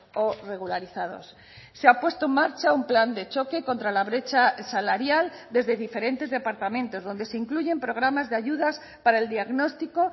o regularizados se ha puesto en marcha un plan de choque contra la brecha salarial desde diferentes departamentos donde se incluyen programas de ayudas para el diagnóstico